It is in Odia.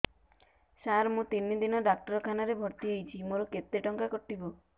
ସାର ମୁ ତିନି ଦିନ ଡାକ୍ତରଖାନା ରେ ଭର୍ତି ହେଇଛି ମୋର କେତେ ଟଙ୍କା କଟିବ